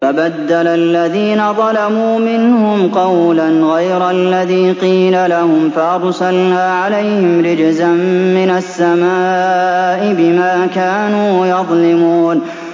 فَبَدَّلَ الَّذِينَ ظَلَمُوا مِنْهُمْ قَوْلًا غَيْرَ الَّذِي قِيلَ لَهُمْ فَأَرْسَلْنَا عَلَيْهِمْ رِجْزًا مِّنَ السَّمَاءِ بِمَا كَانُوا يَظْلِمُونَ